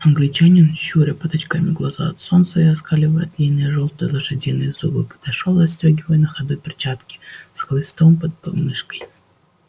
англичанин щуря под очками глаза от солнца и оскаливая длинные жёлтые лошадиные зубы подошёл застёгивая на ходу перчатки с хлыстом под подмышкой